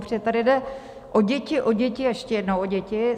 Protože tady jde o děti, o děti a ještě jednou o děti.